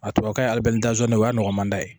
A tubabu kan ye ali bɛlizo na ye o y'a nɔgɔmanda ye